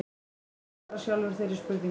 Skúli svarar sjálfur þeirri spurningu.